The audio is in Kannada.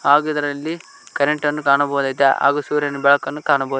ಹಾಗು ಇದರಲ್ಲಿ ಕರೆಂಟ್ ಅನ್ನು ಕಾಣಬಹುದಾಗಿದೆ ಹಾಗು ಸೂರ್ಯನ ಬೆಳಕುನ್ನು ಕಾಣಬೋ--